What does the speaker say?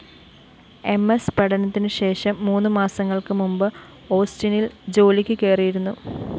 M S പഠനത്തിനുശേഷം മൂന്നുമാസങ്ങള്‍ക്കുമുന്‍പ് ഓസ്റ്റിനില്‍ ജോലിക്കു കയറിയിരുന്നു